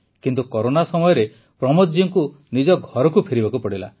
କିନ୍ତୁ କରୋନା ସମୟରେ ପ୍ରମୋଦ ଜୀ ଙ୍କୁ ନିଜ ଘରକୁ ଫେରିବାକୁ ପଡ଼ିଲା